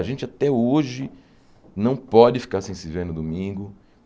A gente até hoje não pode ficar sem se ver no domingo.